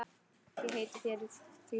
Ég heiti þér því.